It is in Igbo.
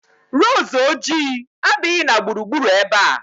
Roozu ojii adighị na gburugburu ebe a